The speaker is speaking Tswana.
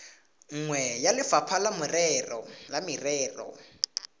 nngwe ya lefapha la merero